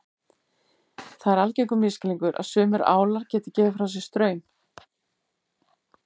Það er algengur misskilningur að sumir álar geti gefið frá sér straum.